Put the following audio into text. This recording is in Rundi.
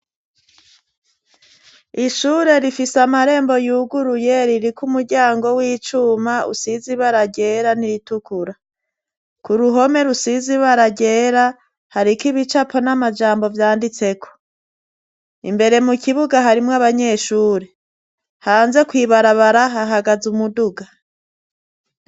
Ishure rifise amarembo yuguruye, ririko umuryango w'icuma usize ibara ryera n'iritukura, k'uruhome rusize ibara ryera ,hariko ibicapo n'amajambo vyanditseko ,imbere mu kibuga harimwo abanyeshuri ,hanze kwibarabara hahagaze umuduga.